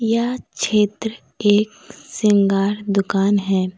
यह क्षेत्र एक श्रृंगार दुकान है।